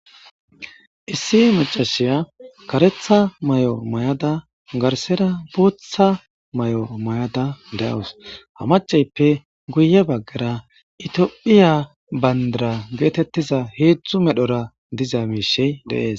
issi macashiya karetha may7o mayada garsera bootha may7o mayada deawus ha maceyppe guye baggara itiyophiya bayndara geetettiza heedzdzu medhora diza miishey deees